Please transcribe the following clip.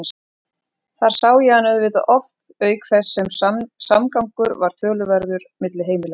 Þar sá ég hann auðvitað oft auk þess sem samgangur var töluverður milli heimilanna.